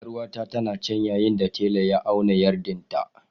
Yar'uwata tana can ya yin da tela ya auna yarɗin ta..